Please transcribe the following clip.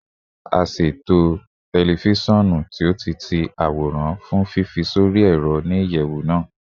A ṣe eto tẹlifisiọnu ti o-ti-ti-aworan fun fifi sori ẹrọ ni iyẹwu naa